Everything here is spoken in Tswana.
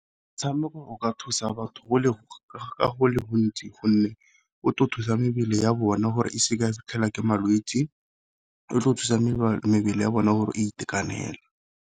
Metshameko o ka thusa batho ka go le gontsi gonne o tlo thusa mebele ya bone gore e seke ya ke malwetsi, e tlo thusa mebele ya bone gore e itekanela.